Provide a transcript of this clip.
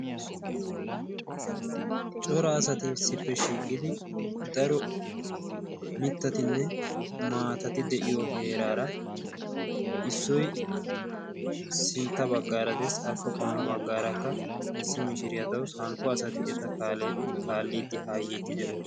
Cora asati sippe shiiggidi daro mittatinne maatati deiiyo heeraara issoi sintta baggaara des xaafi qomo baggaarakka issi mishiriyaa dawusu. hankko asati eta kaalliiddi haayyeetti de'oosona.